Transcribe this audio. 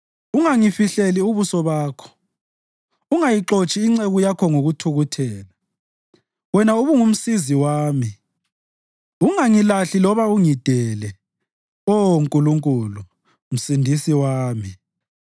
Ungangifihleli ubuso Bakho, ungayixotshi inceku yakho ngokuthukuthela; wena ubungumsizi wami. Ungangilahli loba ungidele, Oh Nkulunkulu, Msindisi wami.